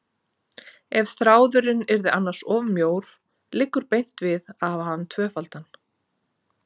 Ef þráðurinn yrði annars of mjór liggur beint við að hafa hann tvöfaldan.